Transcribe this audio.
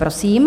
Prosím.